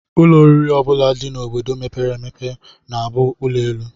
Ụlọ oriri ọ bụla dị n'obodo mepere emepe na-abụ ụlọelu